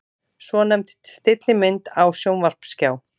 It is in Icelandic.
Svonefnd stillimynd á sjónvarpsskjá.